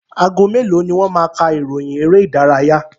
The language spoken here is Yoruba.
Ago mélòó ni wọ́n máa ka ìròyìn eré ìdárayá?